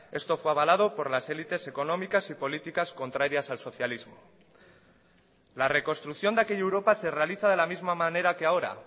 esto fue avalado por las élites económicas y políticas contrarias al socialismo la reconstrucción de aquella europa se realiza de la misma manera que ahora